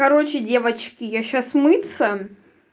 короче девочки я сейчас мыться